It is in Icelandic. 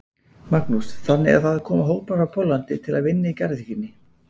Magnús: Þannig að það koma hópar frá Póllandi til að vinna í garðyrkjunni?